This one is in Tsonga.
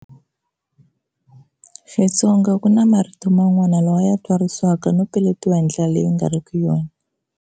Xitsonga ku na marito man'wana lawa ya twarisiwaka no peletiwa hi ndlela leyi ku nga riki yona.